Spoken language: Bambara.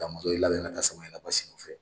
Damɔzɔn y'i labɛn ka taa Samaɲana Basi nɔ fɛ.